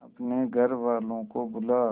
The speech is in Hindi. अपने घर वालों को बुला